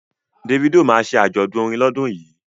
Davido ma ṣe àjọ̀dún orin lọ́dún yìí